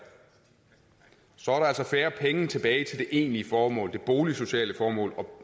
så er der altså færre penge tilbage til det egentlige formål det boligsociale formål